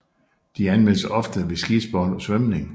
De anvendes ofte ved skisport og svømning